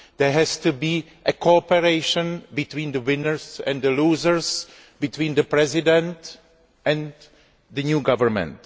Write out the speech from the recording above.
There must be cooperation between the winners and the losers, between the President and the new government.